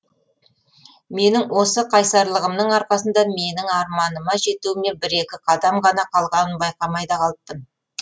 менің осы қайсарлығымның арқасында менің арманыма жетуіме бір екі қадам ғана қалғанын байқамай да қалыппын